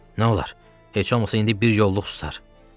Nolar, heç olmasa indi bir yolluq susar.